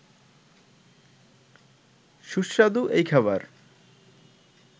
সুস্বাদু এই খাবার